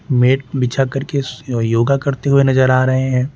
Met बिछा करके स योगा करते हुए नजर आ रहे हैं।